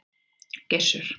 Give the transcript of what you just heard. Gissur